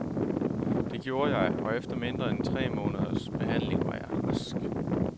Det gjorde jeg, og efter mindre end tre måneders behandling var jeg rask.